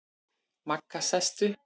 Magga sest upp.